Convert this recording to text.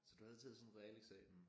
Så du havde taget sådan en realeksamen